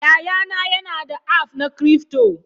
Yayana yana da aff na cryfto.